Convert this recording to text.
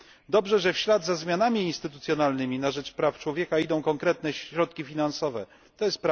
Dobrze, że w ślad za zmianami instytucjonalnymi na rzecz praw człowieka idą konkretne środki finansowe, tj.